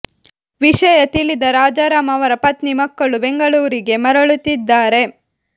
ವಿಷಯ ತಿಳಿದ ರಾಜಾರಾಂ ಅವರ ಪತ್ನಿ ಮತ್ತು ಮಕ್ಕಳು ಬೆಂಗಳೂರಿಗೆ ಮರಳುತ್ತಿದ್ದಾರೆ